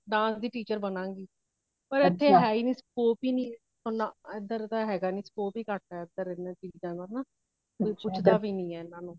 dance ਦੇ teacher ਬਣਾਗੀ , ਪਰ ਇਥੇ ਹੋਈ ਨਹੀਂ scope ਹੀ ਨਹੀਂ ਏ , ਇੱਧਰ ਤੇ ਹੇਗਾ ਨਹੀਂ scope ਹੀ ਘੱਟ ਹੈ ਏਨਾ ਚੀਜਾਂ ਦਾ ਹੋਣਾ ਕੁਛ ਦੇਖਦਾ ਵੀ ਨਹੀਂ ਹੈ